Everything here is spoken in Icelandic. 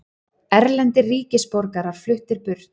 Erlendir ríkisborgarar fluttir burt